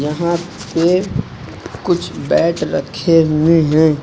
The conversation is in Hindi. यहां पे कुछ बैट रखे हुए हैं।